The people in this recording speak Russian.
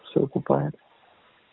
все окупает